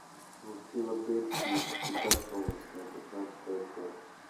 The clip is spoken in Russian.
в филадельфии всегда солнечно шестнадцатая часть